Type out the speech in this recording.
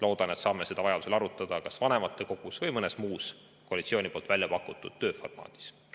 Loodan, et saame seda vajaduse korral arutada kas vanematekogus või mõnes muus koalitsiooni väljapakutud tööformaadis.